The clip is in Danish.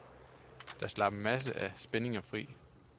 Det slap en masse af spændingerne fri.